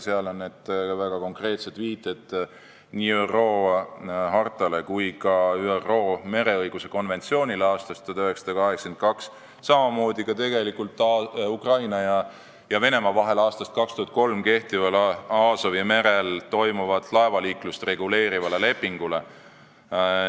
Seal on väga konkreetsed viited nii ÜRO hartale kui ka ÜRO mereõiguse konventsioonile aastast 1982, samamoodi ka Ukraina ja Venemaa vahel aastast 2003 kehtivale Aasovi merel toimuvat laevaliiklust reguleerivale lepingule.